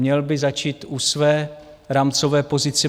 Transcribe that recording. Měl by začít u své rámcové pozice.